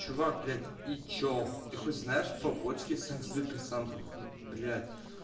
чувак блять и что ты хоть знаешь побочки с антидепрессантов ну блять